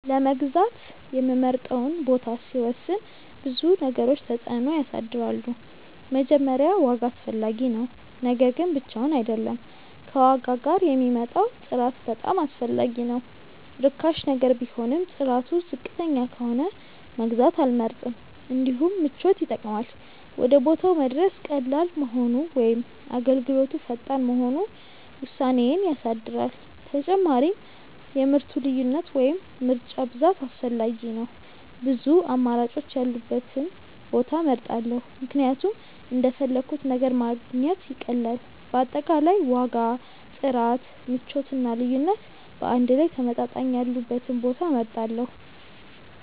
ለመግዛት የምመርጠውን ቦታ ሲወስን ብዙ ነገሮች ተጽዕኖ ያሳድራሉ። መጀመሪያ ዋጋ አስፈላጊ ነው፤ ነገር ግን ብቻውን አይደለም፣ ከዋጋ ጋር የሚመጣው ጥራት በጣም አስፈላጊ ነው። ርካሽ ነገር ቢሆንም ጥራቱ ዝቅተኛ ከሆነ መግዛት አልመርጥም። እንዲሁም ምቾት ይጠቅማል፤ ወደ ቦታው መድረስ ቀላል መሆኑ ወይም አገልግሎቱ ፈጣን መሆኑ ውሳኔዬን ያሳድራል። ተጨማሪም የምርቱ ልዩነት ወይም ምርጫ ብዛት አስፈላጊ ነው፤ ብዙ አማራጮች ያሉበትን ቦታ እመርጣለሁ ምክንያቱም እንደፈለግሁት ነገር ማግኘት ይቀላል። በአጠቃላይ ዋጋ፣ ጥራት፣ ምቾት እና ልዩነት በአንድ ላይ ተመጣጣኝ ያሉበትን ቦታ እመርጣለሁ።